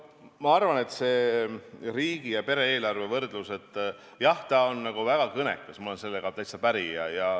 Ma arvan, et see riigi- ja pere-eelarve võrdlus on väga kõnekas, ma olen sellega täitsa päri.